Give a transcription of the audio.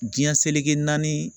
Diɲɛ seleke naani